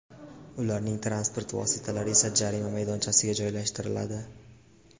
Ularning transport vositalari esa jarima maydonchasiga joylashtiriladi.